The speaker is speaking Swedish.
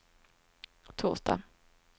torsdag